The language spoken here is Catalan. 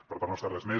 per part nostra res més